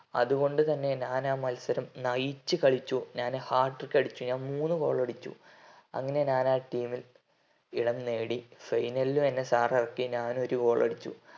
അതുകൊണ്ട് തന്നെ ഞാൻ ആ മത്സരം നയിച്ച് കളിച്ചു hatric അടിച്ചു ഞാൻ മൂന്നു goal അടിച്ചു അങ്ങനെ ഞാൻ ആ team ൽ ഇടം നേടി final ലും എന്നെ sir എറക്കി ഞാൻ ഓരു goal അടിച്ചു